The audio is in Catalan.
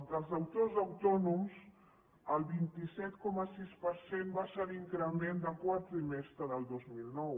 dels deutors autònoms el vint set coma sis per cent va ser l’increment del quart trimestre del dos mil nou